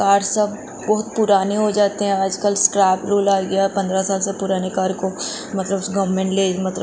car सब बहुत पुराने हो जाते हैं आजकल स्ट्रैप रूल आ गया पंद्रह साल से पुराने कार को मतलब गवर्नमेंट ले मतलब --